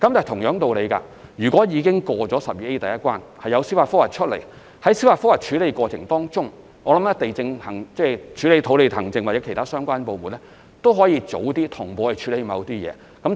同樣道理，如果已通過第 12A 條的第一關，然後有人提出司法覆核，我相信處理土地行政工作的相關部門可以在司法覆核的過程中，提早同步處理某些工序。